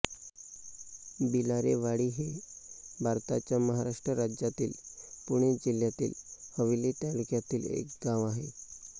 भिलारेवाडी हे भारताच्या महाराष्ट्र राज्यातील पुणे जिल्ह्यातील हवेली तालुक्यातील एक गाव आहे